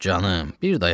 Canım, bir dayanım.